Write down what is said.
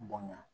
Bonɲa